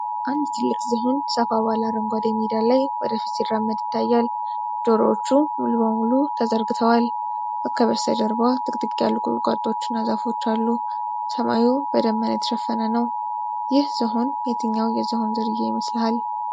አንድ ትልቅ ዝሆን ሰፋ ባለ አረንጓዴ ሜዳ ላይ ወደፊት ሲራመድ ይታያል። ጆሮዎቹ ሙሉ በሙሉ ተዘርግተዋል። ከበስተጀርባ ጥቅጥቅ ያሉ ቁጥቋጦዎችና ዛፎች አሉ። ሰማዩ በደመና የተሸፈነ ነው። ይህ ዝሆን የትኛው የዝሆን ዝርያ ይመስልሃል?